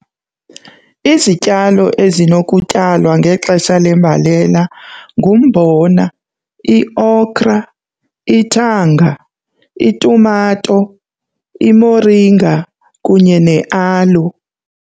Izityalo ezinokutyalwa ngexesha lembalela ngumbona, i-okra, ithanga, itumato, imoringa kunye ne-aloe.